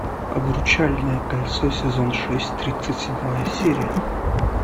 обручальное кольцо сезон шесть тридцать седьмая серия